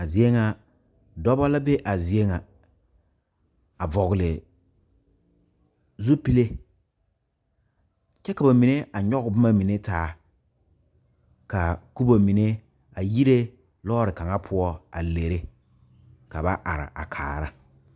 A zie ŋa, dɔɔbo la be a zie ŋa a vɔgle zupele kyɛ ka ba mine a nyoŋ boma mine taa kaa kubo mine a yire lɔre kaŋa poɔ a leri ka ba are a kaara.